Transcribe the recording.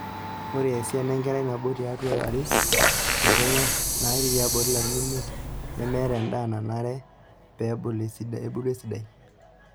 Ore esiana enkerai nabo tiatua are te Kenya naatii tiabori larin imiet nemeeta endaa nanare pee ebulu esidai.